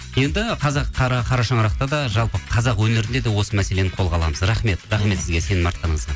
енді қазақ қара шаңырақта да жалпы қазақ өнерінде де осы мәселені қолға аламыз рахмет рахмет сізге сенім артқаныңызға